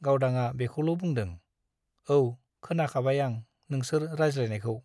गावदांआ बेखौल बुंदों , औ , खोनाखाबाय आं नोंसोर रायज्लायनायखौ ।